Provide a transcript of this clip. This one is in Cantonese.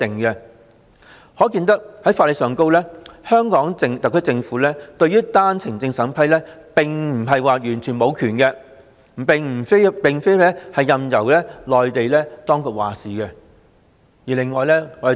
"因此，從法律上而言，香港特區政府對單程證審批並不是完全沒有權力，並非任由內地當局作主的。